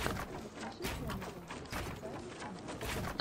рассмеши комика официальный канал